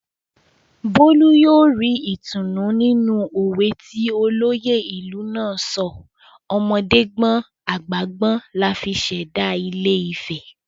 Bólú yóò ri ìtùnú nínú òwe ti olóyè ìlú náà sọ "ọmọdé gbọ́n àgbà gbọ́n la fi ṣẹ̀dá ilé-ifẹ̀"